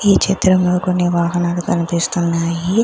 ఈ చిత్రంలో కొన్ని వాహనాలు కనిపిస్తున్నాయి.